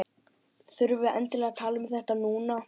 Þurfum við endilega að tala um þetta núna?